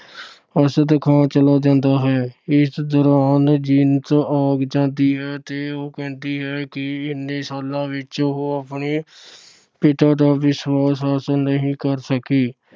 ਅਰਸ਼ਦ ਖਾਨ ਚਲਾ ਜਾਂਦਾ ਹੈ। ਇਸ ਦੌਰਾਨ ਜੀਨਤ ਆ ਜਾਂਦੀ ਹੈ ਤੇ ਉਹ ਕਹਿੰਦੀ ਹੈ ਕਿ ਇੰਨੇ ਸਾਲਾਂ ਵਿੱਚ ਉਹ ਆਪਣੇ ਪਿਤਾ ਦਾ ਵਿਸ਼ਵਾਸ ਹਾਸਲ ਨਹੀਂ ਕਰ ਸਕੀ।